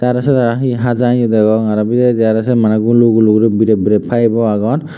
aro sot aro he haja eya degong r o bidiredi say mane gulu gulu gorinay biret biret pipe o agon.